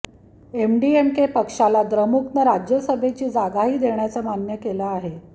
MDMK पक्षाला द्रमुकनं राज्यसभेची जागाही देण्याचं मान्य केलं आहे